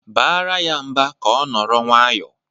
Baara ya mba ka ọ nọrọ nwayọọ!